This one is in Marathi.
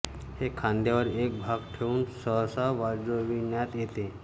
हे खांद्यावर एक भाग ठेउन सहसा वाजविण्यात येते